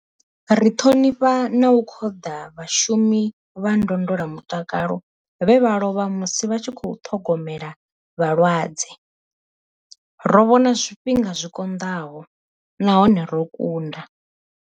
Ri ṱhonifha na u khoḓa vhashumi vha ndondola mutakalo vhe vha lovha musi vha tshi khou ṱhogomela vhalwadze. Ro vhona zwifhinga zwi konḓaho nahone ro kunda.